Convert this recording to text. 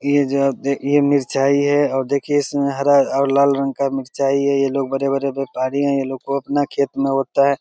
ये जो आप देख ये मिरचाई है और देखिये इसमें हरा और लाल रंग का मिरचाई है ये लोग बड़े बड़े व्यापारी है ये लोग को अपना खेत में होता है।